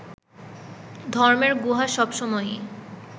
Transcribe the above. ধর্মের গুহা সবসময়ই